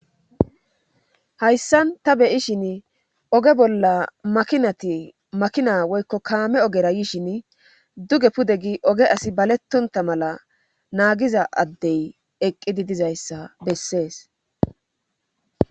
hayssan ta beyishin oge bolla makinati makina woykko kaame ogera yishin duge pude gi oge asi balettonta mala naagiza addey eqqidi dizayssa bessees